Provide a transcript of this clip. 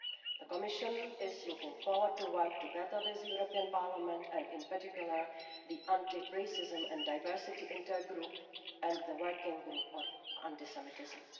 The Commission is looking forward to working with the European Parliament and in particular the Anti Racism and Diversity Intergroup and the Working Group on Anti Semitism.